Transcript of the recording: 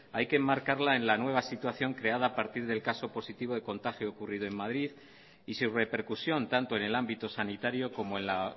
hay que enmarcarla en la nueva situación creada a partir del caso positivo de contagio ocurrido en madrid y su repercusión tanto en el ámbito sanitario como en la